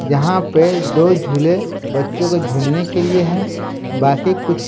जहां पे दो झूले बच्चों को झूलने के लिए हैं बाकी कुछ--